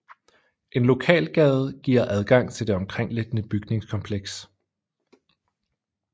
En lokalgade giver adgang til det omkringliggende bygningskompleks